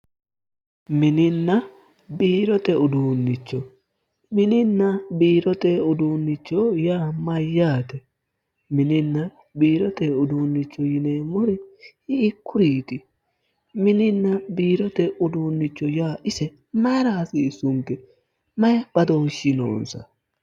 mininna biirote uduunnicho mininna biirote uduunnicho yaa mayyaate? mininna biirote uduunnicho yineemmori hiikkuriiti? mininna biirote uduunnicho yaa ise mayira hasiissunke? mayi badooshshi noonsa?